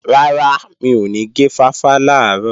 Rárá, mi ò ní gé fáfá làárọ̀